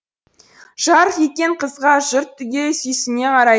жарқ еткен қызға жұрт түгел сүйсіне қарайды